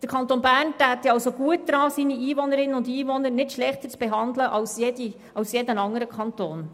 Der Kanton Bern täte gut daran, seine Einwohnerinnen und Einwohner nicht schlechter zu behandeln als jeder andere Kanton.